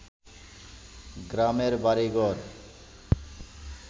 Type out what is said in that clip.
গ্রামের বাড়িঘর